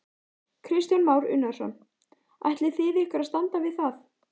Kristján Már Unnarsson: Ætlið þið ykkur að standa við það?